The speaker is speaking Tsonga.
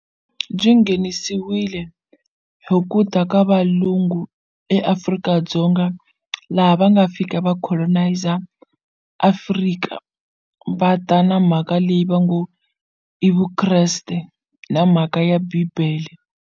Byi nghenisiwile hi ku ta ka valungu eAfrika-Dzonga laha va nga fika va coloniser Afrika va ta na mhaka leyi va ngo i Vukreste na mhaka ya bibele.